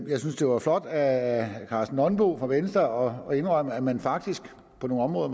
jeg synes det var flot af herre karsten nonbo fra venstre at indrømme at man faktisk på nogle områder